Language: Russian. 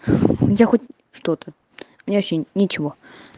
я хоть что-то мне вообще ничего